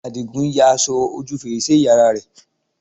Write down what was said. Àdìgún ya aṣọ ojú fèrèsé ìyá rẹ̀